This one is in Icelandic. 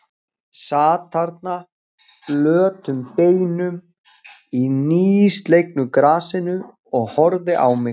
Sat þarna flötum beinum í nýslegnu grasinu og horfði á mig.